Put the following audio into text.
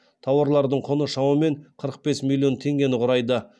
тауарлардың құны шамамен қырық бес миллион теңгені құрайды